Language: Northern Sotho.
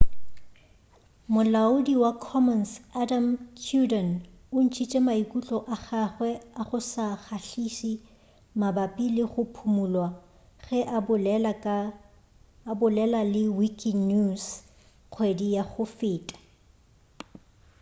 molaodi wa commons adam cuerden o ntšhitše maikutlo a gagwe a go se kgahliše mabapi le go phumulwa ge a bolela le wikinews kgwedi ya go feta